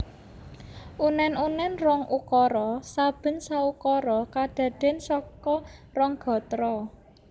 Unen unen rong ukara saben saukara kadadean saka rong gatra